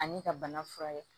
Ani ka bana furakɛ